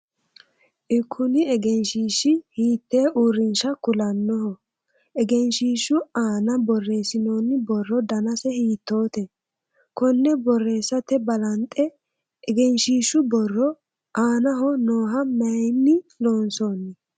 Ekunni egenshiishi hiitee uurinsha kulanoho? Egenshiishu aanna boreesinonni borro dannase hiitoote? Konne boreesate balanxe egenshiishu borro aannaho nooha mayinni loonsoonni?